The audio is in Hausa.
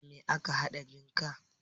Da me ake haɗa jinka?